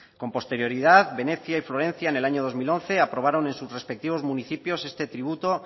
con posterioridad venecia y florencia en el año dos mil once aprobaron en sus respectivos municipios este tributo